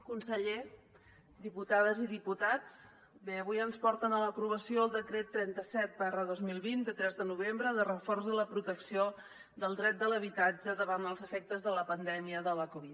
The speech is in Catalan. conseller diputades i diputats bé avui ens porten a l’aprovació el decret trenta set dos mil vint de tres de novembre de reforç a la protecció del dret de l’habitatge davant els efectes de la pandèmia de la covid dinou